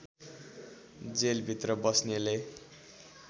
जेलभित्र बस्नेले